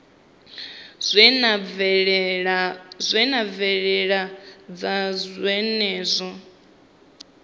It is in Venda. zwi na mvelelo dza zwenezwo